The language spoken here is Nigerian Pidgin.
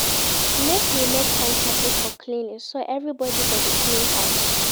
Make we make timetable for cleaning so everybodi go dey clean house.